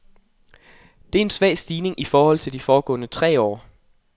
Det er en svag stigning i forhold til de foregående tre år.